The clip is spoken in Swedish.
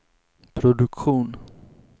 produktion